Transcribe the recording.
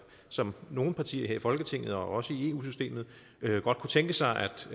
som nogle partier her i folketinget og også i eu systemet godt kunne tænke sig